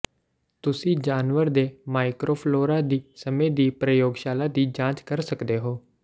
ਤੁਸੀਂ ਜਾਨਵਰ ਦੇ ਮਾਈਕਰੋਫਲੋਰਾ ਦੀ ਸਮੇਂ ਦੀ ਪ੍ਰਯੋਗਸ਼ਾਲਾ ਦੀ ਜਾਂਚ ਕਰ ਸਕਦੇ ਹੋ